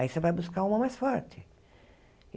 Aí você vai buscar uma mais forte.